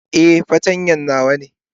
Eh, fartanya nawa ne.